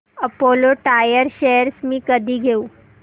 Apollo Tyres shares मी कधी घेऊ